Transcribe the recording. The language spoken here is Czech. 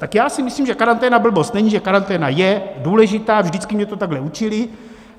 Tak já si myslím, že karanténa blbost není, že karanténa je důležitá, vždycky mě to takhle učili.